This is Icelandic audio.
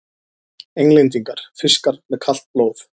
Englendingar: fiskar með kalt blóð!